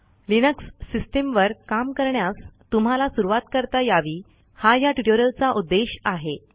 Linux सिस्टीमवर काम करण्यास तुम्हाला सुरुवात करता यावी हा ह्या ट्युटोरियलचा उद्देश आहे